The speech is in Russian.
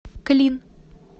клин